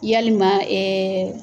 Yalilima